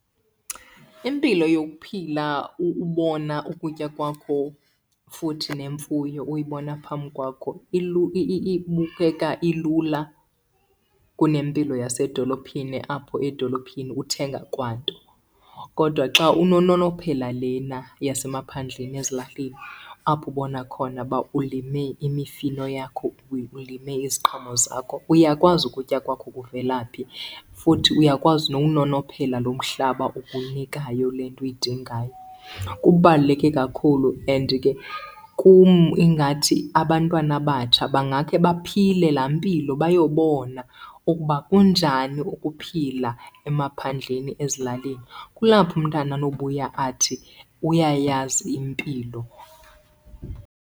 Impilo yokuphila ubona ukutya kwakho futhi nemfuyo uyibona phambi kwakho ibukeka ilula kunempilo yasedolophini apho edolophini uthenga kwanto. Kodwa xa unononophela lena yasemaphandleni ezilalini apho ubona khona uba ulime imifino yakho, ulime iziqhamo zakho uyakwazi ukutya kwakho kuvela phi futhi uyakwazi nokunonophela lo mhlaba ukunikayo le nto uyidingayo. Kubaluleke kakhulu and ke kum ingathi abantwana abatsha bangakhe baphile laa mpilo bayobona ukuba kunjani ukuphila emaphandleni ezilalini. Kulapho umntana anobuya athi uyayazi impilo.